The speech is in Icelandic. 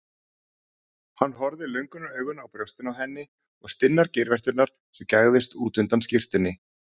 Hann horfði löngunaraugum á brjóstin á henni og stinnar geirvörturnar sem gægðust út undan skyrtunni.